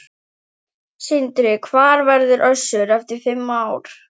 Sindri: Hvar verður Össur eftir fimm ár?